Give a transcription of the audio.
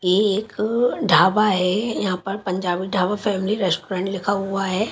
ये एक ढाबा है यहां पर पंजाबी ढाबा फैमिली रेस्टोरेंट लिखा हुआ है।